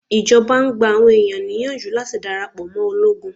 Ìjọba ń gba àwọn ẹ̀yàn níyànjú láti darapọ̀ mọ́ ológun.